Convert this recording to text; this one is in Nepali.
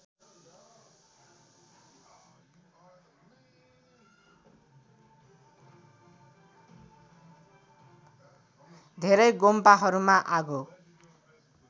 धेरै गोम्पाहरूमा आगो